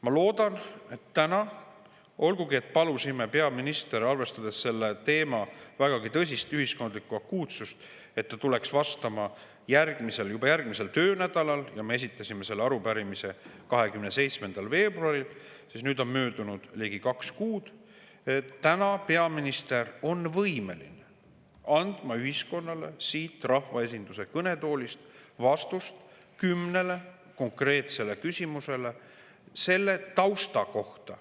Ma loodan, et täna – olgugi et palusime peaministrit, arvestades selle teema vägagi tõsist ühiskondlikku akuutsust, et ta tuleks vastama juba järgmisel töönädalal; me esitasime selle arupärimise 27. veebruaril ja nüüd on möödunud ligi kaks kuud – on peaminister võimeline andma ühiskonnale siit rahvaesinduse kõnetoolist vastuse kümnele konkreetsele küsimusele selle tausta kohta.